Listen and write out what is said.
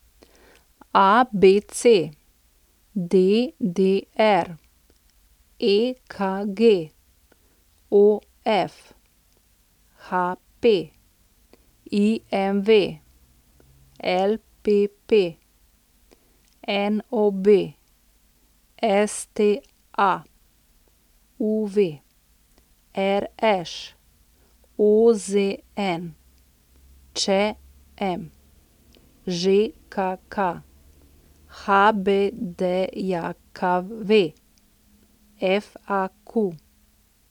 ABC, DDR, EKG, OF, HP, IMV, LPP, NOB, STA, UV, RŠ, OZN, ČM, ŽKK, HBDJKV, FAQ.